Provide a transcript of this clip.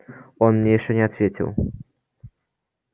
он мне ещё не ответил